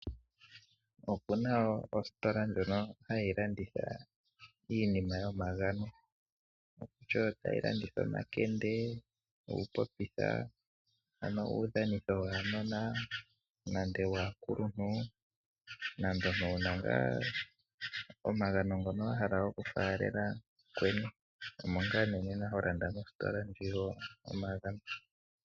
Opu na ositola ndjono hayi landitha iinima yomagano. Otayi landitha omakende, uupopitha, uudhanitho waanona nenge waakuluntu nenge ngaa omagano ngono wa hala okufaalela mukweni omo ngaa ho landa mositola ndjoka yomagano.